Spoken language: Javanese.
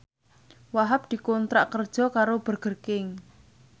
Wahhab dikontrak kerja karo Burger King